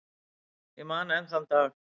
Ég man enn þann dag.